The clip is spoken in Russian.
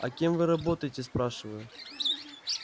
а кем вы работаете спрашиваю